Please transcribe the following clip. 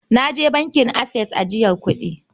Na je bankin Access ajiyar kuɗi.